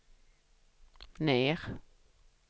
ner